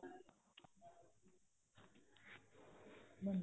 ਹਮ